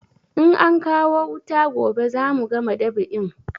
In ankawo wuta gobe za mu gama dab'in